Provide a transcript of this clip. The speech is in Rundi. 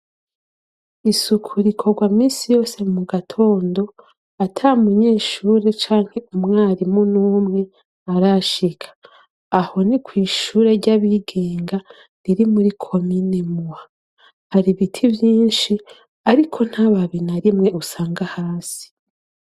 Isuku rikorwa minsi yose mu gatondo ata munyeshure canke umwarimu n'umwe arashika aho ni kw'ishure ry'abigenga riri muri komine mua hari biti byinshi ariko nt'ababi na rimwe usanga hasi.